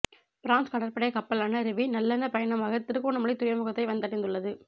France கடற்படை கப்பலான ரெவி நல்லெண்ண பயணமாக திருகோணமலை துறைமுகத்தை வந்தடைந்துள்ளது